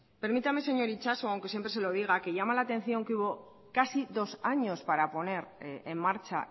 permítame señor itxaso aunque siempre se lo diga que llama la atención que hubo casi dos años para poner en marcha